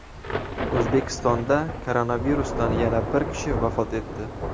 O‘zbekistonda koronavirusdan yana bir kishi vafot etdi.